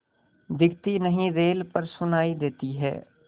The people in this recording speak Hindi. दिखती नहीं रेल पर सुनाई देती है